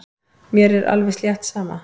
Mér er alveg slétt sama.